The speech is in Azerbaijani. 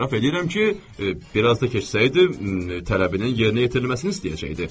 Etiraf eləyirəm ki, bir az da keçsəydi, tələbinin yerinə yetirilməsini istəyəcəkdi.